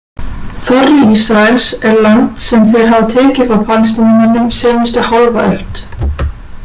Þorri Ísraels er land sem þeir hafa tekið frá Palestínumönnum seinustu hálfa öld.